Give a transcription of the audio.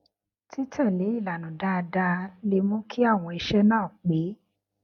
títèlé ìlànà dáadáa lè mú kí àwọn iṣé náà pé